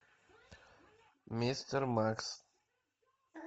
мистер макс